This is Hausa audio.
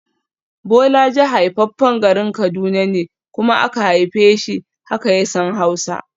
Bolaji haifaffen garin Kaduna ne kuma aka haife shi, haka ya san Hausa